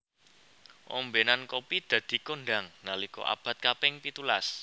Ombenan kopi dadi kondhang nalika abad kaping pitulas